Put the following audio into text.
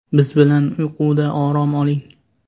Biz bilan uyquda orom oling!